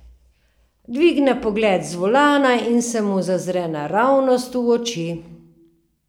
Dvigne pogled z volana in se mi zazre naravnost v oči.